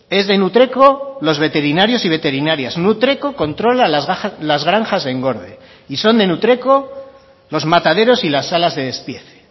es de nutreco los veterinarios y veterinarias nutreco controla las granjas de engorde y son de nutreco los mataderos y las salas de despiece